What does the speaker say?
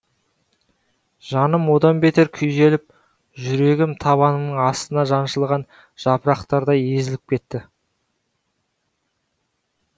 жаным одан бетер күйзеліп жүрегім табанымның астында жаншылған жапырықтардай езіліп кетті